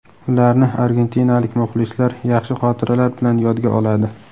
Ularni argentinalik muxlislar yaxshi xotiralar bilan yodga oladi.